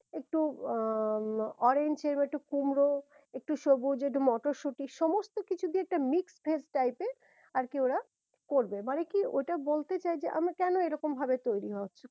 একটু ah um orange এইরকম একটু কুমড়ো একটু সবুজ একটু মটরশুঁটি সমস্ত কিছু দিয়ে একটা mixed veg type এর আর কি ওরা করবে মানে কি ওটা বলতে চাই আমরা কেন এই রকম ভাবে তৈরী